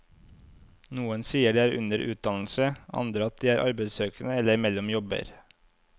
Noen sier de er under utdannelse, andre at de er arbeidssøkende eller mellom jobber.